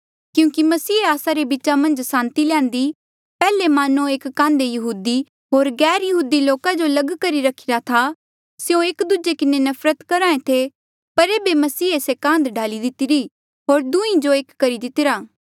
क्यूंकि मसीहे ई आस्सा रे बीचा मन्झ सांति ल्यान्दी पैहले मान्नो एक कान्धे यहूदी होर गैरयहूदी लोका जो लग करी रखिरा था स्यों एक दूजे किन्हें नफरत करहे थे पर ऐबे मसीहे से कान्ध ढाली दितिरी होर दुहीं जो एक करी दितिरा